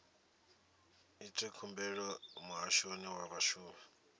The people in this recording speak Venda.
ite khumbelo muhashoni wa vhashumi